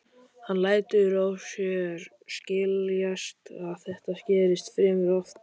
Hann lætur á sér skiljast að þetta gerist fremur oft.